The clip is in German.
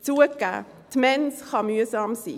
Zugegeben, die Mens kann mühsam sein.